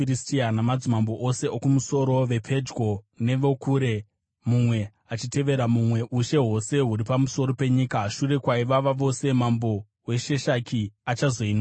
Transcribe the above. namadzimambo ose okumusoro vepedyo nevokure, mumwe achitevera mumwe, ushe hwose huri pamusoro penyika. Shure kwaivava vose, mambo weSheshaki achazoinwawo.